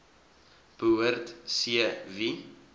behoort c wie